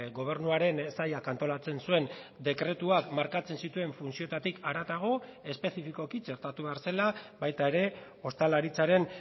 gobernuaren sailak antolatzen zuen dekretuak markatzen zituen funtzioetatik haratago espezifikoki txertatu behar zela baita ere ostalaritzaren